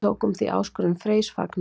Við tókum því áskorun Freys fagnandi.